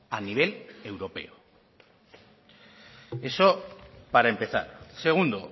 a nivel europeo eso para empezar segundo